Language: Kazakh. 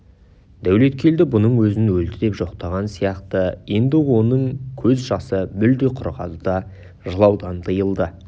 дәулеткелді бұның өзін өлді деп жоқтаған сияқты енді оның көз жасы мүлде құрғады да жылаудан тыйылды